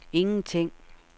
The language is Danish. ingenting